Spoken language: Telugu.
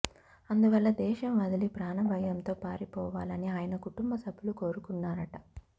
అందువల్ల దేశం వదిలి ప్రాణభయంతో పారిపోవాలని ఆయన కుటుంబ సభ్యులు కోరుకున్నారట